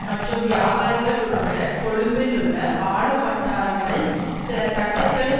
மற்றும் வியாபாரிகள் உட்பட கொழும்பில் உள்ள ஆளும் வட்டாரங்களின் சில தட்டுக்களின்